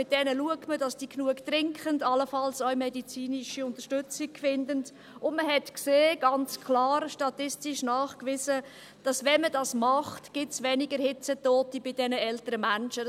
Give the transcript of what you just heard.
Mit ihnen schaut man, dass sie genügend trinken, allenfalls auch medizinische Unterstützung finden, und man hat ganz klar gesehen, statistisch nachgewiesen, dass es weniger Hitzetote bei diesen älteren Menschen gibt, wenn man dies tut.